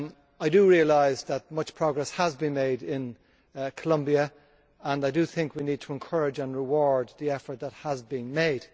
I realise that much progress has been made in Colombia and I think that we need to encourage and reward the effort which has been made.